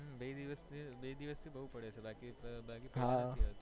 હમ બે દિવસ થી બે દિવસ થી બઉ પડે છે બાકી તો પેહલા નથી આવી